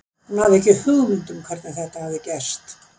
Hún hafði ekki hugmynd um hvernig þetta hafði gerst.